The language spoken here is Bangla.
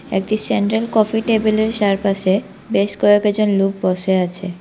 একতি সেন্ট্রাল কফি টেবিল -এর চারপাশে বেশ কয়েকজন লুক বসে আছে।